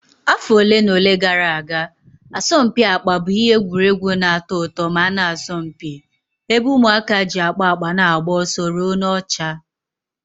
Afọ ole na ole gara aga, asọmpi akpa bụ ihe egwuregwu na-atọ ụtọ ma na-asọmpi, ebe ụmụaka ji akpa akpa na-agba ọsọ ruo n'ọcha.